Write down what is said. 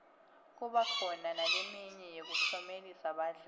kuba khona naleminye yekuklomelisa badlali